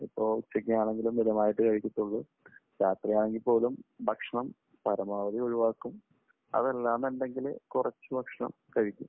ഇപ്പോൾ ഉച്ചയ്ക്ക് ആണെങ്കിലും മിതമായിട്ടേ കഴിക്കത്തുള്ളൂ. രാത്രി ആണെങ്കിൽ പോലും ഭക്ഷണം പരമാവധി ഒഴിവാക്കും. അതല്ലാന്നുണ്ടെങ്കിൽ കുറച്ചു ഭക്ഷണം കഴിക്കും.